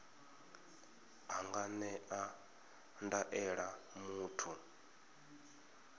a nga ṅea ndaela muthu